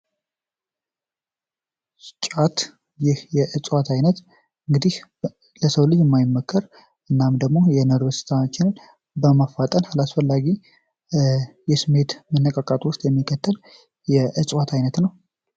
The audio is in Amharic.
ጫት የዕዋት አይነት እንግዲህ ለሰው ልጅ የማይመከር እናም ደግሞ ስሜትን በማፋጠን አላስፈላጊ የስሜት መነቃቃትን የሚፈጥር የእዋት አይነት ነው።